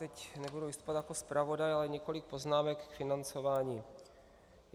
Teď nebudu vystupovat jako zpravodaj, ale několik poznámek k financování.